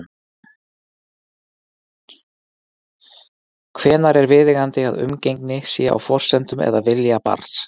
Hvenær er viðeigandi að umgengni sé á forsendum eða vilja barns?